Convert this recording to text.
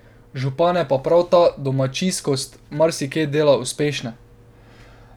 Župane pa prav ta domačijskost marsikje dela uspešne.